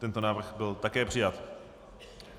Tento návrh byl také přijat.